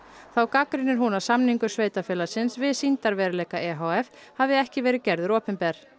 þá gagnrýnir hún að samningur sveitarfélagsins við sýndarveruleika e h f hafi ekki verið gerður opinber